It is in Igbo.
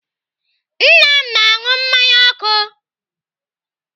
Nna m na-anụ mmanya ọkụ.